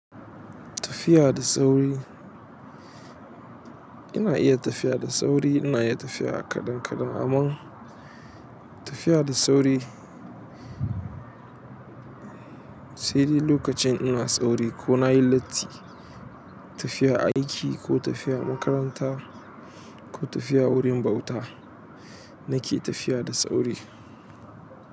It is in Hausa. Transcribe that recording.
Tafiya da sauri ina iya tafiya da sauri, ina iya tafiya a kaɗan kaɗan amma tafiya da sauri sai dai lokacin ina sauri ko na yi latti. Tafiya aiki ko tafiya makaranta ko tafiya wurin bauta na ke tafiya da sauri.